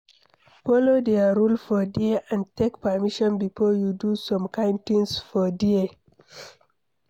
follow their rule for there and take permission before you do some kind things for there